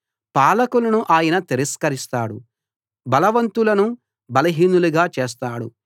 పాలకులను ఆయన తిరస్కరిస్తాడు బలవంతులను బలహీనులుగా చేస్తాడు